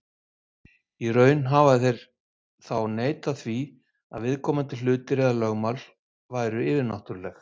Í raun hafa þeir þá neitað því að viðkomandi hlutir eða lögmál væru yfirnáttúrleg.